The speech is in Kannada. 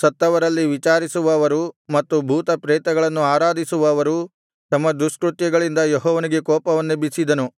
ಸತ್ತವರಲ್ಲಿ ವಿಚಾರಿಸುವವರು ಮತ್ತು ಭೂತ ಪ್ರೇತಗಳನ್ನು ಆರಾಧಿಸುವವರು ತಮ್ಮ ದುಷ್ಕೃತ್ಯಗಳಿಂದ ಯೆಹೋವನಿಗೆ ಕೋಪವನ್ನೆಬ್ಬಿಸಿದನು